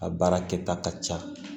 A baara kɛta ka ca